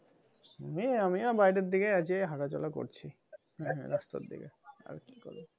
এই আমিও বাইরের দিকে আছি। এই হাঁটাচলা করছি রাস্তার দিকে। আর কি করবো?